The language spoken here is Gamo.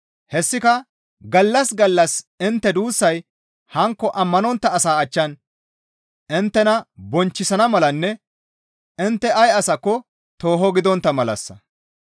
Hessika gallas gallas intte duussay hankko ammanontta asaa achchan inttena bonchchisana malanne intte ay asaska tooho gidontta malassa.